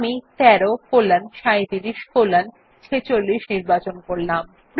আমি ১৩ colon ৩৭ colon ৪৬ নির্বাচন করলাম